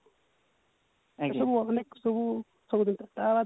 ଏସବୁ ମାନେ ସବୁ ତା ବାଦେ